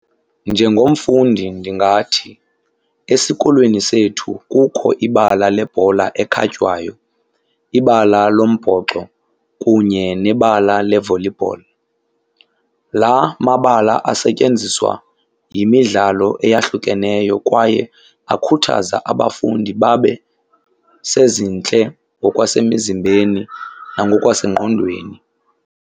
Njengomfundi ndingathi esikolweni sethu kukho ibala lebhola ekhatywayo, ibala lombhoxo, kunye nebala le-volleyball. La mabala asetyenziswa yimidlalo eyahlukeneyo kwaye akhuthaza abafundi babe sezintle ngokwasemizimbeni nangokwasengqondweni.